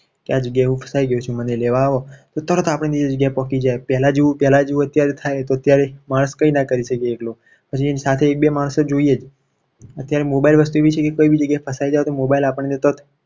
કે આ જગ્યાએ હું ફસાઈ ગયો છું. મને લેવા આવો તો તરત આપણે ત્યાં પહોંચી જઈએ. પહેલા જેવું પહેલા જેવું અત્યારે થાય તો ત્યારે વાત કંઈ ના કરી શકીએ. એકલો પછી એની સાથે એક બે માણસો જોઈએ છે અત્યારે mobile વસ્તુ એવી છે. કે કોઈ બી જગ્યાએ ફસાઈ જાવ તો mobile આપણને તરત